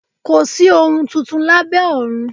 Kòsí ohun tuntun lábẹ́ ọ̀run